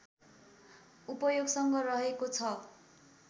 उपयोगसँग रहेको छ